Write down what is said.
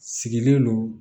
Sigilen don